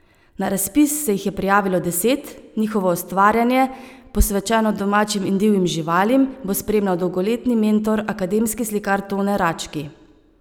Na razpis se jih je prijavilo deset, njihovo ustvarjanje, posvečeno domačim in divjim živalim, bo spremljal dolgoletni mentor, akademski slikar Tone Rački.